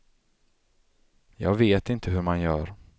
Jag vet inte hur man gör.